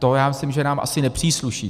To já myslím, že nám asi nepřísluší.